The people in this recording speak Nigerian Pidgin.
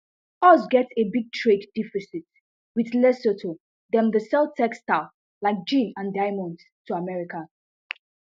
us get a big trade deficit wit lesotho dem dey sell textiles like jeans and diamonds to america